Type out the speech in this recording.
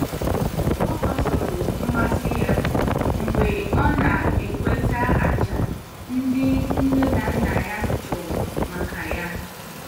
Ọ gbasoro mmasị ya mgbe ọ na-ekweta àjà ndị nne na nna ya chụrụ maka ya.